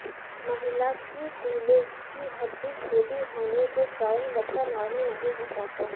महिला की कूल्हे की हड्डी छोटी होने के कारण बच्चा नॉर्मल नहीं हो पाता